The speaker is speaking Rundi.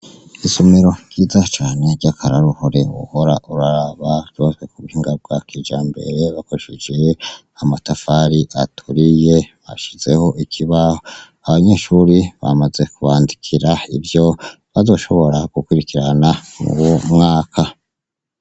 Isomero ryiza cane ry'akaroruhore wohora uraraba ryubatswe kubuhinga bwa kijambere bakoresheje amatafari aturiye bashizeho ikibaho, abanyeshuri bamaze kubandikira ivyo bazoshobora gukurikirana mwuwo mwaka.